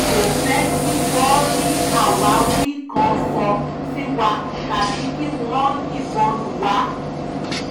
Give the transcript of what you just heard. a ò fẹ́ẹ̀ kí wọ́n rí àwáwí kan sọ sí wa tàbí kí wọ́n yìnbọn lù wá